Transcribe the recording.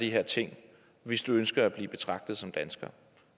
de her ting hvis du ønsker at blive betragtet som dansker